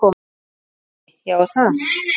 Breki: Já, er það?